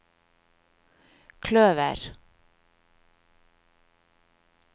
kløver